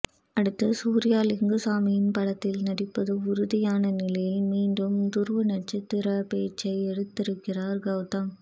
அடுத்து சூர்யா லிங்குசாமியின் படத்தில் நடிப்பது உறுதியான நிலையில் மீண்டும் துருவ நட்சத்திர பேச்சை எடுத்திருக்கிறார் கௌதம்